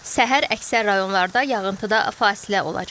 Səhər əksər rayonlarda yağıntıda fasilə olacaq.